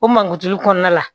O mankutu kɔnɔna la